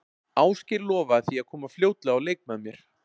Ásgeir lofaði því að koma fljótlega á leik með mér.